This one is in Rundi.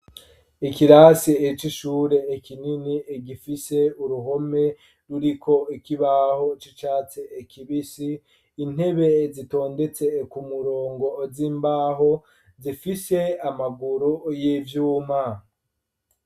Ikirasi c'ishure, kinini, gifise uruhome, ruriko ikibaho, c'icatsi kibisi, intebe, zitondetse ku murongo, z'imbaho, zifise amaguru, y'ivyuma.